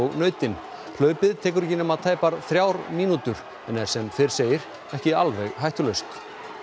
nautin hlaupið tekur ekki nema tæpar þrjár mínútur en er sem fyrr segir ekki alveg hættulaust